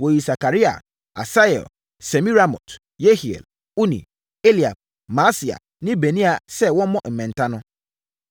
Wɔyii Sakaria, Asiel, Semiramot, Yehiel, Uni, Eliab, Maaseia ne Benaia sɛ wɔmmɔ mmɛnta no.